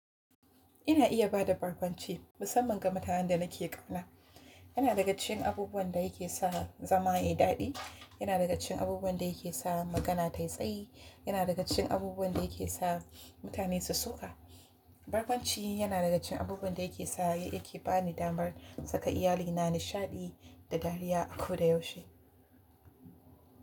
Ina iya ba da barkwanci musamman ga mutanen da nake ƙauna. Yana daga cikin abubuwan da yake sa zama yayi daɗi. Yana daga cikin abubuwan da yake sa magana ta yi tsayi. Yana daga cikin abubuwan da yake sa mutane su soƙa. Barkwanci yana daga cikin abubuwan da yake sa, yake ba ni damar saka iyalina nishaɗi da dariya a ko da yaushe.